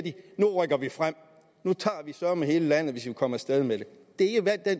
nu rykker vi frem nu tager vi søreme hele landet hvis vi kan komme af sted med det det er den